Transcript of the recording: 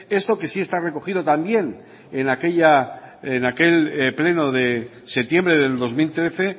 esto que sí está recogido también en aquel pleno de septiembre de dos mil trece